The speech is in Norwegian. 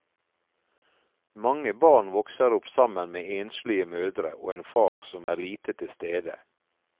Mange barn vokser opp sammen med enslige mødre og en far som er lite til stede.